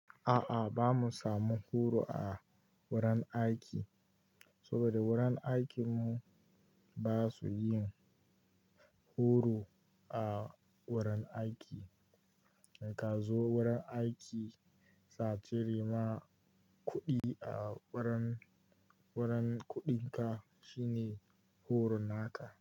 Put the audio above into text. A'a, ba mu samu horo a wurin aiki saboda wurin aikinmu ba su yin horo a wurin aiki. In ka zo wurin aiki, satiri ma kuɗi a wurin, wurin kuɗinka shine horon haka.